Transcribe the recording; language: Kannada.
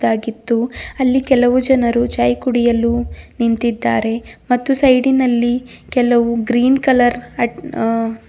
ಆಗಿದ್ದು ಅಲ್ಲಿ ಕೆಲವು ಜನರು ಚಾಯ್ ಕುಡಿಯಲು ನಿಂತಿದ್ದಾರೆ ಮತ್ತು ಸೈಡಿನಲ್ಲಿ ಕೆಲವು ಗ್ರೀನ್ ಕಲರ್ ಅಟ್ ಆ--